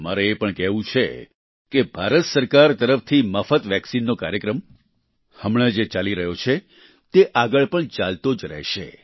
મારે એ પણ કહેવું છે કે ભારત સરકાર તરફથી મફત વેક્સિનનો કાર્યક્રમ હમણાં જે ચાલી રહ્યો છે તે આગળ પણ ચાલતો જ રહેશે